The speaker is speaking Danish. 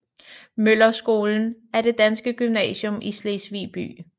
Møller Skolen er det danske gymnasium i Slesvig by